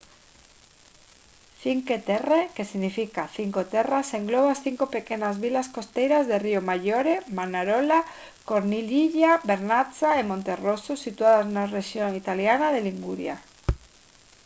cinque terre que significa cinco terras engloba as cinco pequenas vilas costeiras de riomaggiore manarola corniglia vernazza e monterosso situadas na rexión italiana de liguria